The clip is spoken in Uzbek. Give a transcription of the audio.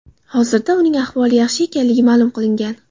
Hozirda uning ahvoli yaxshi ekanligi ma’lum qilingan.